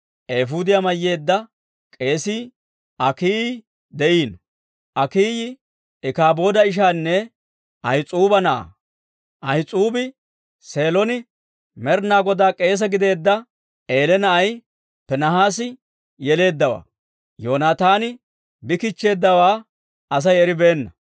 eefuudiyaa mayyeedda k'eesii, Akiiyi de'iino. Akiiyi Ikaabooda ishaanne Ahis'uuba na'aa; Ahis'uubi Seelon Med'inaa Godaa k'eese gideedda Eeliya na'ay Piinihaasi yeleeddawaa. Yoonaataani bi kichcheeddawaa Asay eribeenna.